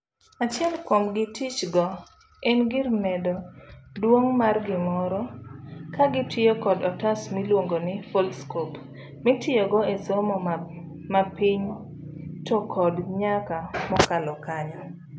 Achiel kuom gitich go en gir medo duong' mar gimoro kagitiyo kod otas miluongo ni Foldscope mitiyogo esomo mapiny to kod nyaka mokalo kanyo.